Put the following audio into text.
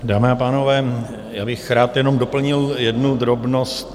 Dámy a pánové, já bych rád jenom doplnil jednu drobnost.